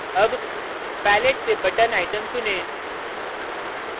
अब palette से button item चुनें